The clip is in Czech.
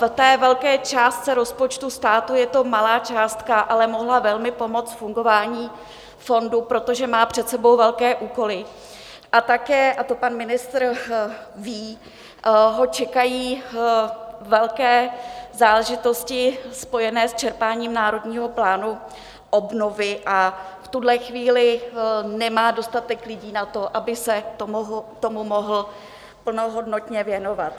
V té velké částce rozpočtu státu je to malá částka, ale mohla velmi pomoct fungování fondu, protože má před sebou velké úkoly, a také, a to pan ministr ví, ho čekají velké záležitosti spojené s čerpáním Národního plánu obnovy a v tuhle chvíli nemá dostatek lidí na to, aby se tomu mohl plnohodnotně věnovat.